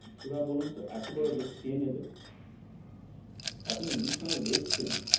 এবার বলুন তো এত বড় risk কে নেবে? আপনি news channel দেখিছেনই